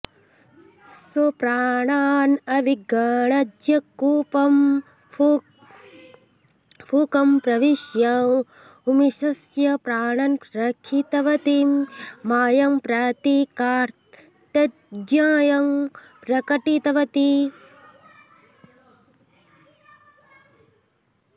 स्वप्राणान् अविगणय्य कूपं प्रविश्य उमेशस्य प्राणान् रक्षितवतीं मायां प्रति कार्तज्ञ्यं प्रकटितवती